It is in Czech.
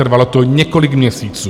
Trvalo to několik měsíců.